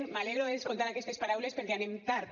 m’alegro d’escoltar aquestes paraules perquè anem tard